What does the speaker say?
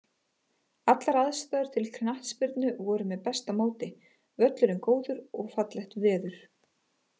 Allar aðstæður til knattspyrnu voru með besta móti, völlurinn góður og fallegt veður.